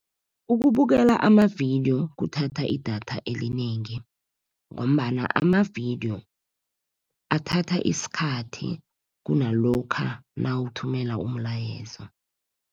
Ukubukela amavidiyo kuthatha idatha elinengi, ngombana amavidiyo athatha isikhathi kunalokha nawuthumela umlayezo